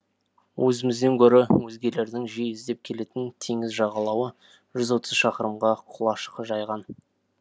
өзімізден гөрі өзгелердің жиі іздеп келетін теңіз жағалауы жүз отыз шақырымға құлаш жайған